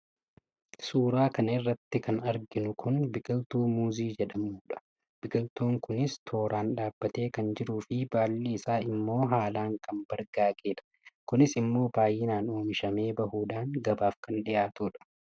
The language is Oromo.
suuraa kana irratti kan arginu kun biqiltuu muuzii jedhamu dha. biqiltuun kunius tooraan dhaabbatee kan jiruu fi baalli isaas immoo haalaan kan bargaage dha. kunis immoo baay'inaan oomishamee bahuudhaan gabaaf kan dhihaatudha.